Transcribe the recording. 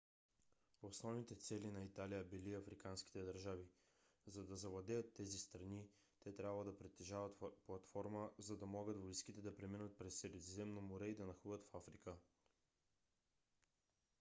основните цели на италия били африканските държави. за да завладеят тези страни те трябвало да притежават платформа за да могат войските да преминат през средиземно море и да нахлуят в африка